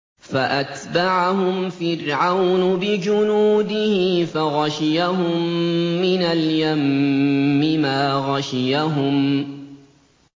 فَأَتْبَعَهُمْ فِرْعَوْنُ بِجُنُودِهِ فَغَشِيَهُم مِّنَ الْيَمِّ مَا غَشِيَهُمْ